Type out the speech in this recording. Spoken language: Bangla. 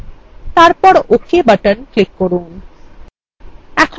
তারপর ok button click করুন